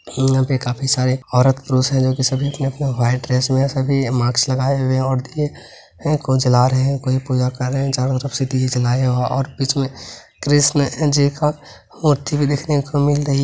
यहाँ पे काफी सारे औरत-पुरुष है सभी अपने-अपने वाइट ड्रेस में है सभी मास्क लगाए हुए हैं और चला रहे हैं| कोई पूजा कर रहे हैं चारो तरफ से दीये जलाएँ हैं और बीचे में कृष्ण जी को मूर्ति भी देखने को मिल रही --